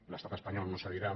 l’estat espanyol no cedirà